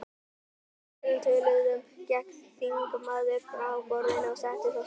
Að þessum orðum töluðum gekk þingmaðurinn frá borðinu og settist á stól.